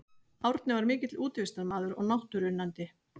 Árni var mikill útivistarmaður og náttúruunnandi.